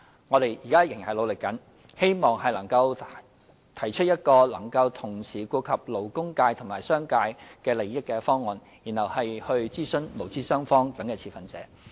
我們現在仍在努力，希望能夠提出一個能同時顧及勞工界及商界利益的方案，然後會諮詢勞資雙方等持份者。